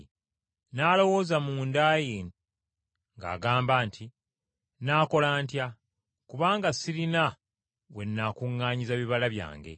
N’alowooza munda mu ye ng’agamba nti, ‘Nnaakola ntya? Kubanga sirina we nnaakuŋŋaanyiza bibala byange?’